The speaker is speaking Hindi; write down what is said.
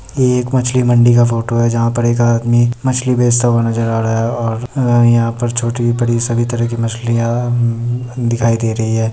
ये एक मछली मंडी का फोटो है जहा पर एक आदमी मछली बेचता हुआ नजर आ रहा है और यहाँ पर छोटी-बड़ी सभी तरह की मछलियां द- द- दिखाई दे रही है ।